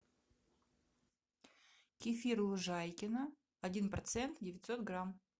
кефир лужайкино один процент девятьсот грамм